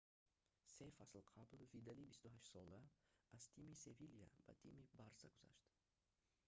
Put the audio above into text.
се фасл қабл видали 28 сола аз тими севиля ба тими барса гузашт